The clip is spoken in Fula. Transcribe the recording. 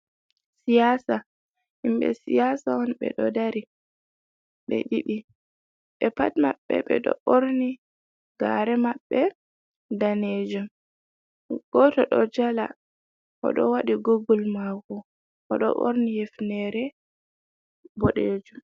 Siyasa, himbe siyasa on be do dari be didi be pat maɓbe be do borni gare maɓbe danejum goto do jala o do wadi gogul mako o do borni hefnere bodejum.